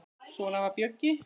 Svona var Bjöggi.